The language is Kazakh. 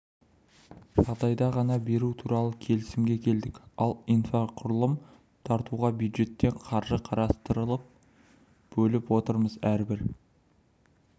жағдайда ғана беру туралы келісімге келдік ал инфрақұрылым тартуға бюджеттен қаржы қарастырып бөліп отырмыз әрбір